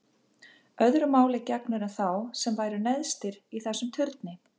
Öðru máli gegnir um þá sem væru neðst í þessum turni.